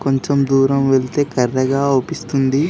కొంచం దూరం వెళ్తే కర్రెగా అవుపిస్తుంది.